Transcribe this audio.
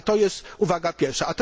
To jest uwaga pierwsza.